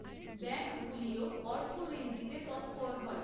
ব্যাংকগুলিও অর্থ ঋণ দিতে তৎপর হয়।